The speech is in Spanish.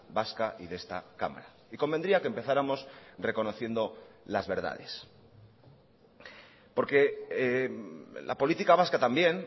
vasca y de esta cámara y convendría que empezáramos reconociendo las verdades porque la política vasca también